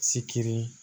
Sikiri